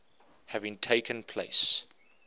having taken place